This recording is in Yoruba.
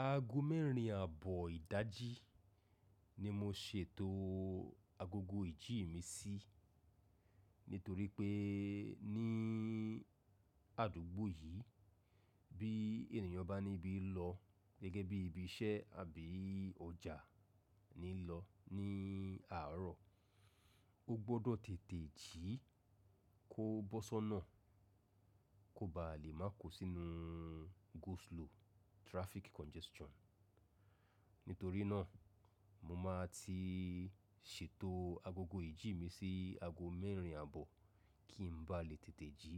Aago mẹ́rin àbọ̀ ìdájí ni mo ṣe eto o agogo ìjí mi sí, nítorí pé ní àdúgbò yìí bí ènìyàn bá níbí lọ gẹ́gẹ́ bí ibi iṣẹ́ àbí ọjà ni lọ ní àárọ̀, ó gbọ́dọ̀ tètè jí kó bọ́ sọ́nà kó ba lè má ko sínú go slow traffic congestion. Nítorí náà mo máa ti ṣètò agogo ìjí mi sí aago mẹ́rin àbọ̀ kí n ba lè tètè jí